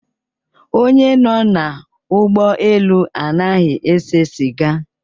Onye nọ na ụgbọ elu anaghị ese siga